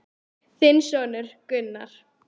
Þinn sonur, Gunnar.